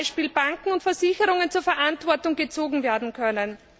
beispielsweise Banken und Versicherungen zur Verantwortung gezogen werden können.